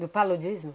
Do paludismo?